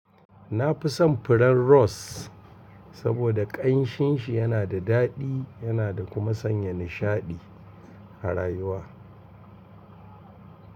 Na fi son furen ros saboda ƙanshinshi yana da daɗi yana da kuma sanya nishaɗi har rayuwa.